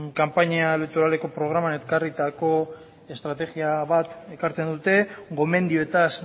kanpaina elektoralean ekarritako estrategia bat ekartzen dute gomendioetaz